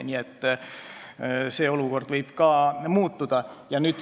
Nii et see olukord võib ka muutuda.